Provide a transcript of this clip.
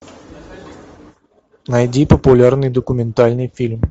найди популярный документальный фильм